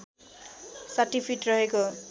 ६० feet रहेको